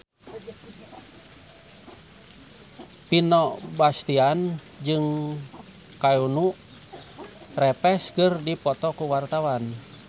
Vino Bastian jeung Keanu Reeves keur dipoto ku wartawan